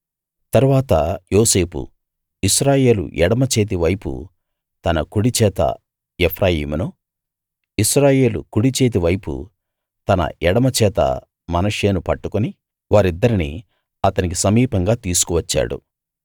తరువాత యోసేపు ఇశ్రాయేలు ఎడమచేతి వైపు తన కుడిచేత ఎఫ్రాయిమును ఇశ్రాయేలు కుడిచేతి వైపు తన ఎడమ చేత మనష్షేను పట్టుకుని వారిద్దరిని అతని సమీపంగా తీసుకు వచ్చాడు